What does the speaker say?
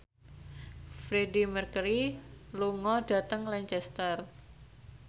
Freedie Mercury lunga dhateng Lancaster